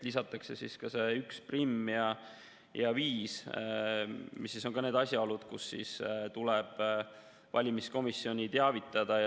Lisatakse 11 ja 5, mis on need asjaolud, kui tuleb valimiskomisjoni teavitada.